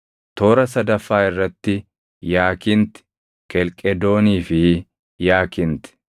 toora sadaffaa irratti yaakinti, kelqedoonii fi yaakinti,